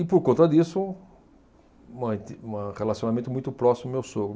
E por conta disso, manti, uma relacionamento muito próximo do meu sogro.